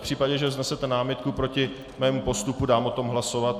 V případě, že vznesete námitku proti mému postupu, dám o tom hlasovat.